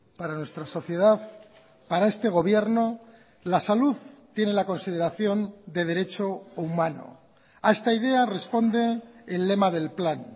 para nuestra sociedad para este gobierno la salud tiene la consideración de derecho humano a esta idea responde el lema del plan